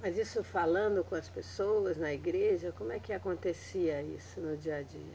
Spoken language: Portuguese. Mas isso falando com as pessoas na igreja, como é que acontecia isso no dia a dia?